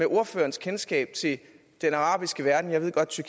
ordførerens kendskab til den arabiske verden jeg ved godt at